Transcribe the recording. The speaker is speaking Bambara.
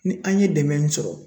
Ni an ye dɛmɛ min sɔrɔ